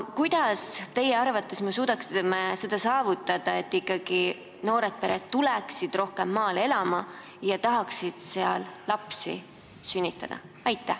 Kuidas me teie arvates suudaksime saavutada, et ikkagi noored pered tuleksid rohkem maale elama ja tahaksid seal lapsi sünnitada?